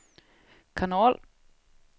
kanal